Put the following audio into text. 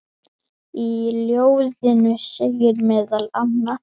Í ljóðinu segir meðal annars